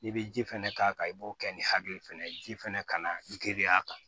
I bɛ ji fɛnɛ k'a kan i b'o kɛ ni hakili fɛnɛ ye ji fɛnɛ ka na girin a kan